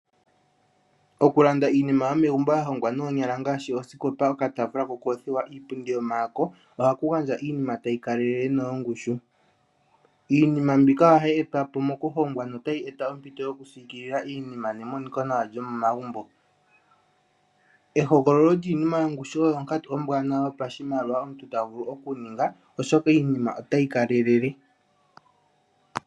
Oku landa iinima yomegumbo yalongwanoonyala ngaashi osikopa, okataafula kokothiwa, iipundi yomaako ohaku gandja iinima tayi kalelele noyongushu. Iinima mbika ohayi etwapo moku hongwa notayi eta ompito yoku siikilila iinima nemonika nawa komomagumbo. Ehogololo lyiinima yongushu oyo onkatu ombwaanawa yopashimaliwa omuntu tavulu oku ninga oshoka iinima otayi kalelele.